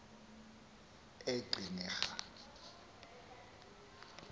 eqhinirha